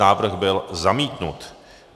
Návrh byl zamítnut.